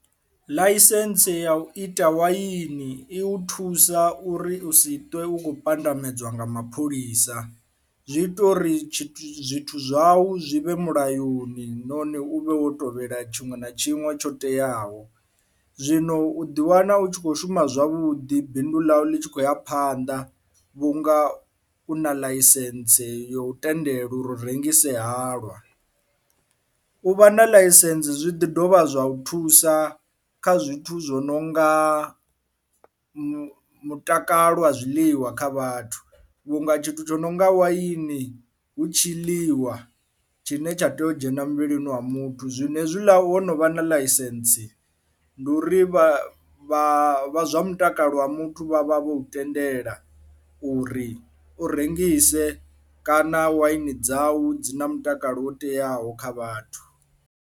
Ḽaisentse ya u ita waini i u thusa uri u si ṱwe u kho pandamedzwa nga mapholisa zwi ita uri zwithu zwau zwi vhe mulayoni nahone u vhe wo tevhela tshiṅwe na tshiṅwe tsho teaho, zwino u ḓi wana u tshi kho shuma zwavhuḓi bindu ḽau ḽi tshi khou ya phanḓa vhunga u na ḽaisentse yo tendela uri u rengise halwa. U vha na ḽaisentse zwi ḓi dovha zwa u thusa kha zwithu zwo no nga mutakalo wa zwiḽiwa kha vhathu vhunga tshithu tsho no nga waini hu tshi ḽiwa tshine tsha tea u dzhena muvhilini wa muthu, zwino hezwiḽa wonovha na ḽaisentse ndi u ri vha vha vha zwa mutakalo wa muthu vha vha vho tendela uri u rengise kana waini dzau dzi na mutakalo wo teaho kha vhathu.